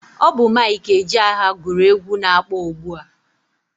Ọ bụ Mike Ejeagha gụrụ egwu na-akpọ ugbua.